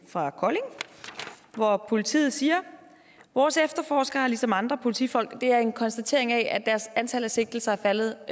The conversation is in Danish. fra kolding hvor politiet siger vores efterforskere har ligesom andre politifolk det er en konstatering af at deres antal af sigtelser er faldet